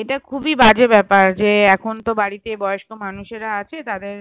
এটা খুবই বাজে ব্যাপার যে এখন তো বাড়িতে বয়স্ক মানুষেরা আছে তাদের